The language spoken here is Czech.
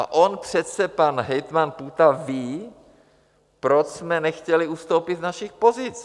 A on přece, pan hejtman Půta, ví, proč jsme nechtěli ustoupit z našich pozic.